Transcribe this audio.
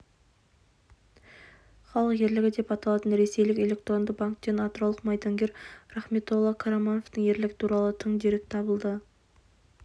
халық ерлігі деп аталатын ресейлік электронды банктен атыраулық майдангер рахметолла қарамановтың ерлігі туралы тың дерек табылды